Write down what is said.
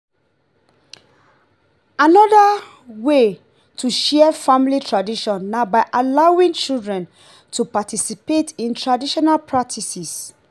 anoda wey to share family tradition na by allowing children to participate in traditional practices